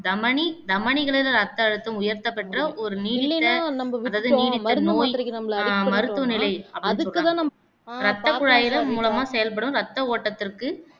தமனி தமனிகளில் ரத்த அழுத்தம் உயர்த்தப்பட்ட ஒரு நோய் மருத்துவ நிலை அப்பிடின்னு சொல்ராங்க ரத்தக் குழாய்கள் மூலமா செயல்படும் ரத்த ஓட்டத்திற்கு